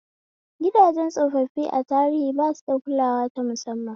Gidajen tsofaffi a tarihi ba su da kulawa ta musamman.